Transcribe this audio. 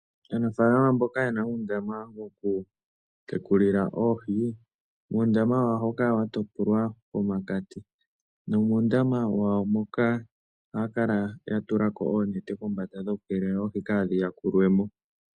Aanafaalama mboka ye na uundama woku tekulila oohi, uundama wawo ohawu kala wa topolwa pomakati nomuundama wawo moka ohaya kala ya tula ko oonete kombanda dhoku keelela oohi kaadhi yakulwe mo.